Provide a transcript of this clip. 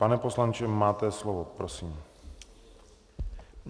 Pane poslanče, máte slovo, prosím.